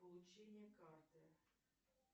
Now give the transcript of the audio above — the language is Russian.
получение карты